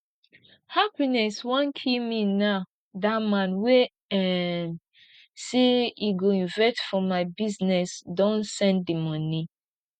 happiness wan kill me now that man wey um say e go invest for my business don send the money